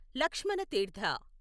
లక్ష్మణ తీర్థ